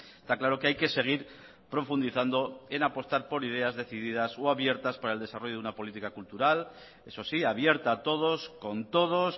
está claro que hay que seguir profundizando en apostar por ideas decididas o abiertas para el desarrollo de una política cultural eso sí abierta a todos con todos